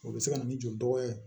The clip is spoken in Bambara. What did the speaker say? O bɛ se ka na ni joli dɔgɔya